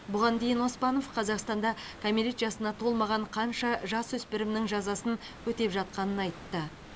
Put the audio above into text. бұған дейін оспанов қазақстанда кәмелет жасына толмаған қанша жасөспірімнің жазасын өтеп жатқанын айтты